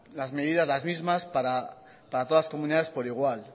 las medidas las mismas para todas las comunidades por igual